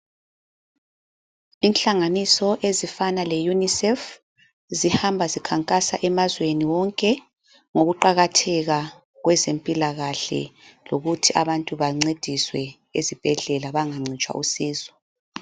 Inhlanganiso ezifana leUnicef zihamba zikhankasa emazweni wonke ngokuqakatheka kwezempilakahle lokuthi abantu bancediswe esibhedlela bangancitshwa usizo.